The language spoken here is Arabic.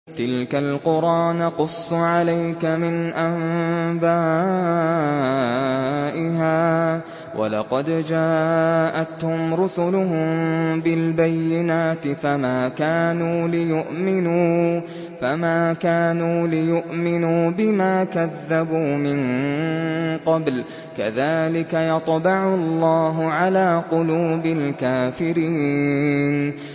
تِلْكَ الْقُرَىٰ نَقُصُّ عَلَيْكَ مِنْ أَنبَائِهَا ۚ وَلَقَدْ جَاءَتْهُمْ رُسُلُهُم بِالْبَيِّنَاتِ فَمَا كَانُوا لِيُؤْمِنُوا بِمَا كَذَّبُوا مِن قَبْلُ ۚ كَذَٰلِكَ يَطْبَعُ اللَّهُ عَلَىٰ قُلُوبِ الْكَافِرِينَ